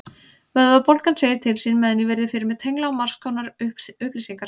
Vöðvabólgan segir til sín meðan ég virði fyrir mér tengla á margskonar upplýsingar.